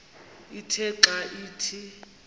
ithe xa ithi